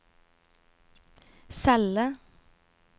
celle